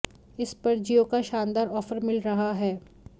इस पर जियो का शानदार ऑफर मिल रहा है